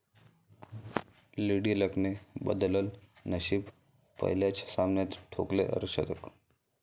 lady लकने बदललं नशीब, पहिल्याच सामन्यात ठोकले अर्धशतक